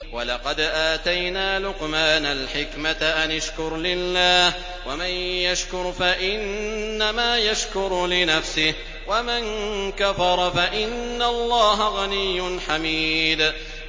وَلَقَدْ آتَيْنَا لُقْمَانَ الْحِكْمَةَ أَنِ اشْكُرْ لِلَّهِ ۚ وَمَن يَشْكُرْ فَإِنَّمَا يَشْكُرُ لِنَفْسِهِ ۖ وَمَن كَفَرَ فَإِنَّ اللَّهَ غَنِيٌّ حَمِيدٌ